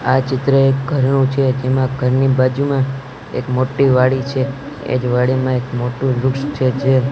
આ ચિત્ર એ ઘરનું છે તેમાં ઘરની બાજુમાં એક મોટી વાડી છે એની વાડીમાં એક મોટું વૃક્ષ છે જે--